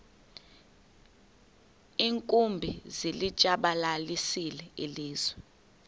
iinkumbi zilitshabalalisile ilizwe